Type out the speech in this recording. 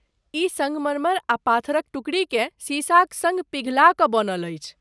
ई सङ्गमरमर आ पाथरक टुकड़ीकेँ सीसाक सङ्ग पिघला क बनल अछि ।